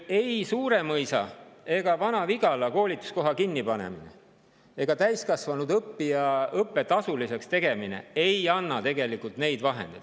Ei Suuremõisa ega Vana-Vigala koolituskoha kinnipanemine ega täiskasvanud õppija õppe tasuliseks tegemine ei anna tegelikult neid vahendeid.